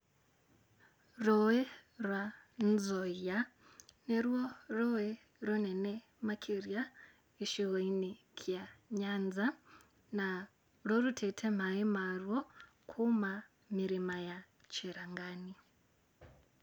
Rũĩ rwa Nzoia, nĩ ruo rũĩ rĩnene makĩria gĩcigo-inĩ kĩa Nyanza, na rũrutĩte maaĩ maruo kuma mĩrĩma-inĩ ya Chirangani.